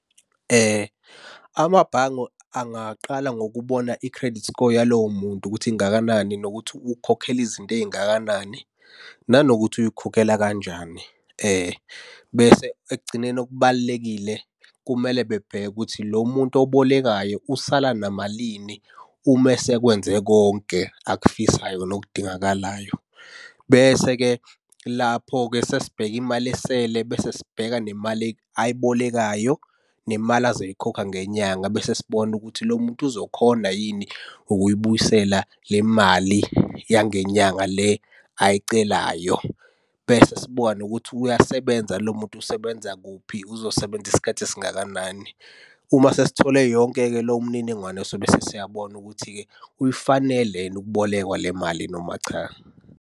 Amabhange angaqala ngokubona i-credit score yalowo muntu ukuthi ingakanani nokuthi ukhokhela izinto ey'ngakanani nanokuthi uy'khokhela kanjani. Bese ekugcineni okubalulekile kumele bebheke ukuthi lo muntu obolekayo usala namalini uma esekwenze konke akufisayo nokudingakalayo. Bese-ke lapho-ke sesibheka imali esele bese sibheka nemali ayibolekayo, nemali azoyikhokha ngenyanga bese sibona ukuthi lo muntu uzokhona yini ukuyibuyisela le mali yangenyanga le ayicelayo. Bese sibona ukuthi uyasebenza yini lo muntu, usebenza kuphi, uzosebenza isikhathi esingakanani. Uma sesithole yonke-ke leyo mniningwane sobe sesiyabona ukuthi-ke uyifanele yini ukubolekwa le mali noma cha.